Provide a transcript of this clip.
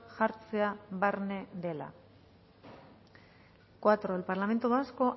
jartzea barne dela cuatro el parlamento vasco